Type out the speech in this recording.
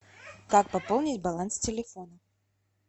как пополнить баланс телефона